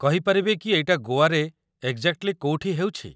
କହିପାରିବେ କି ଏଇଟା ଗୋଆରେ ଏଗ୍‌ଜାକ୍ଟଲି କୋଉଠି ହେଉଛି?